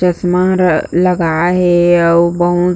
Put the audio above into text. चश्मा र लगाए हे अऊ बहुत--